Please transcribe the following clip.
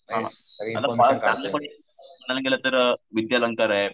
विद्या अलंकार आहे.